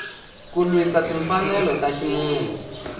ku lwisa timfanelo ta ximunhu